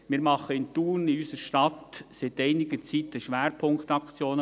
Wir machen in unserer Stadt Thun seit einiger Zeit polizeiliche Schwerpunktaktionen.